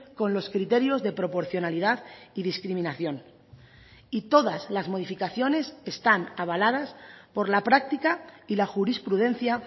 con los criterios de proporcionalidad y discriminación y todas las modificaciones están avaladas por la práctica y la jurisprudencia